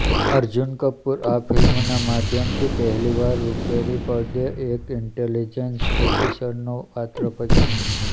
અર્જુન કપૂર આ ફિલ્મના માધ્યમથી પહેલીવાર રૂપેરી પડદે એક ઈન્ટેલીજેન્સ ઓફિસરનો પાત્ર ભજવશે